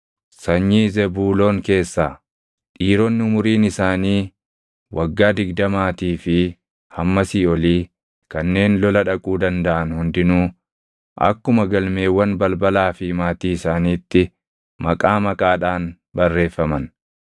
Sanyii Zebuuloon keessaa: Dhiironni umuriin isaanii waggaa digdamaatii fi hammasii olii kanneen lola dhaquu dandaʼan hundinuu akkuma galmeewwan balbalaa fi maatii isaaniitti maqaa maqaadhaan barreeffaman.